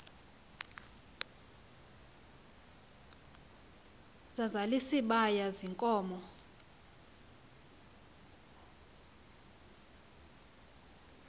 sazal isibaya ziinkomo